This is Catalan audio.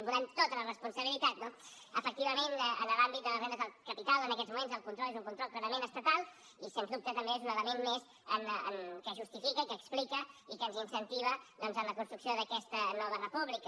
volem tota la responsabilitat no efectivament en l’àmbit de les rendes del capital en aquests moments el control és un control clarament estatal i sens dubte també és un element més que justifica que explica i que ens incentiva doncs en la construcció d’aquesta nova república